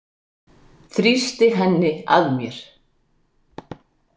Þrýsti henni að mér.